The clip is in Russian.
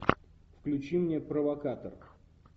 включи мне провокатор